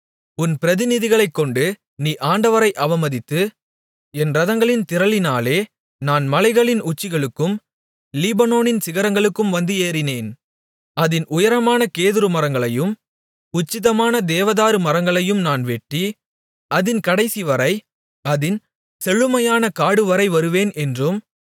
உன் பிரதிநிதிகளைக்கொண்டு நீ ஆண்டவரை அவமதித்து என் இரதங்களின் திரளினாலே நான் மலைகளின் உச்சிகளுக்கும் லீபனோனின் சிகரங்களுக்கும் வந்து ஏறினேன் அதின் உயரமான கேதுருமரங்களையும் உச்சிதமான தேவதாரு மரங்களையும் நான் வெட்டி அதின் கடைசிவரை அதின் செழுமையான காடுவரை வருவேன் என்றும்